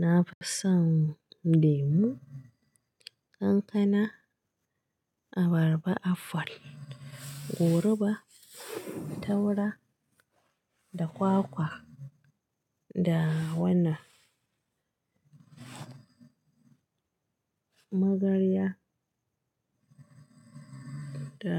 Na fi son lemu, kankana, abarba, aful, goruba, taura da kwakwa da wannan magarya da